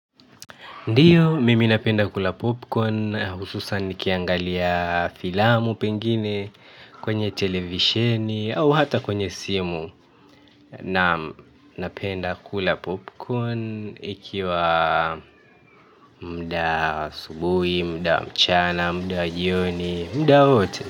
Ndiyo, mimi napenda kula popcorn, hususan nikiangalia filamu pengine kwenye televisheni au hata kwenye simu na napenda kula popcorn ikiwa mda subui, mda mchana, mda jioni, mda wote.